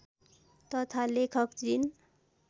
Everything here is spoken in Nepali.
तथा लेखक जिन